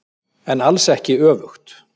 En alls ekki öfugt.